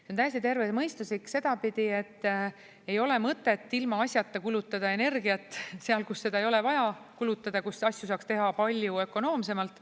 See on täiesti tervemõistuslik sedapidi, et ei ole mõtet ilmaasjata kulutada energiat seal, kus seda ei ole vaja kulutada, kus asju saaks teha palju ökonoomsemalt.